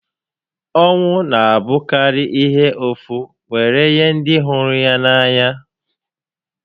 Ọnwụ n'abụkarị ihe ụfụ were nye ndị hụrụ n'anya